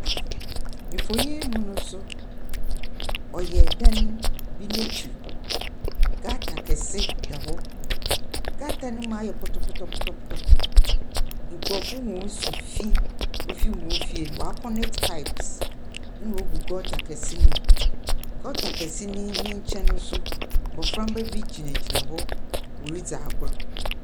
Mfonyin yi mu nso, ɔyɛ dan bi n'ekyir. Gutter kase da hɔ. Gutter no mu ayɛ pɔtɔpɔtɔpɔtɔpɔtɔ. Nkurɔfo hɔn nsufi ɔfir hɔn fie no wɔaaconnet pipes, naogu gutter kɛse no mu. Gutter kɛse ne ne nkyɛn no nso, mboframba bi gyinagyina hɔ wɔredzi agor.